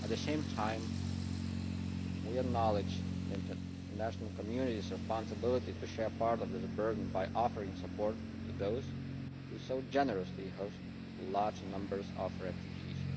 At the same time, we acknowledge the international community's responsibility to share part of the burden by offering support to those who so generously host large numbers of refugees.